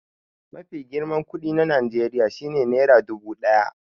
Mafi girman kuɗi na Najeriya shi ne nera dubu ɗaya.